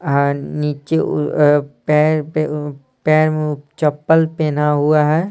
आह नीचे पैर पे पैर में चप्पल पहना हुआ है ।